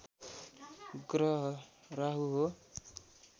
ग्रह राहु हो